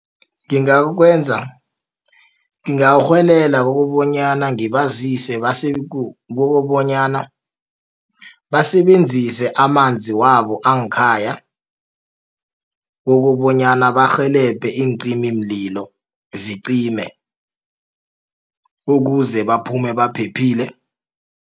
ngingarhwelelela kukobonyana ngibazise kokobonyana basebenzise amanzi wabo ngekhaya kokobonyana barhelebhe iincimimlilo zime ukuze baphume baphephile.